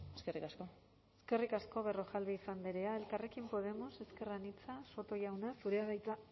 eskerrik asko eskerrik asko berrojalbiz andrea elkarrekin podemos ezker anitza soto jauna zurea de hitza